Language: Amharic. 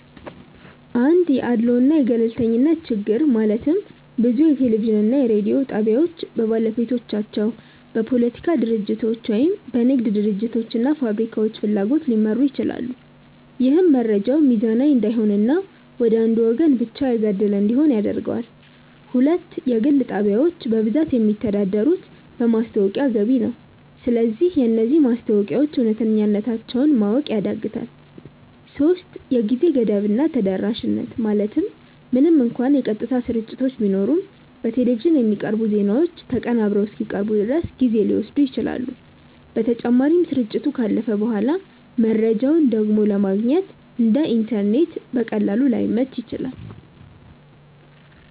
1 የአድልዎ እና የገለልተኝነት ችግር ማለትም ብዙ የቴሌቪዥን እና የሬዲዮ ጣቢያዎች በባለቤቶቻቸው፣ በፖለቲካ ድርጅቶች ወይም በንግድ ድርጅቶች እና ፋብሪካዎች ፍላጎት ሊመሩ ይችላሉ። ይህም መረጃው ሚዛናዊ እንዳይሆን እና ወደ አንዱ ወገን ብቻ ያጋደለ እንዲሆን ያደርገዋል። 2 የግል ጣቢያዎች በብዛት የሚተዳደሩት በማስታወቂያ ገቢ ነው። ስለዚህ የነዚህ ማስታወቂያዎች እውነተኛነታቸውን ማወቅ ያዳግታል 3የጊዜ ገደብ እና ተደራሽነት ማለትም ምንም እንኳን የቀጥታ ስርጭቶች ቢኖሩም፣ በቴሌቪዥን የሚቀርቡ ዜናዎች ተቀናብረው እስኪቀርቡ ድረስ ጊዜ ሊወስዱ ይችላሉ። በተጨማሪም፣ ስርጭቱ ካለፈ በኋላ መረጃውን ደግሞ ለማግኘት (እንደ ኢንተርኔት በቀላሉ) ላይመች ይችላል።